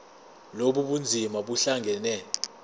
lobu bunzima buhlangane